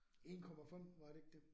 1 komma 5 var det ikke det?